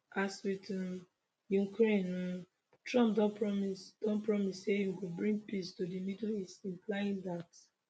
as wit um ukraine um trump don promise don promise say im go bring peace to di middle east implying dat